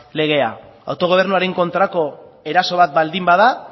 legea autogobernuaren kontrako eraso bat baldin bada